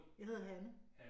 Jeg hedder Hanne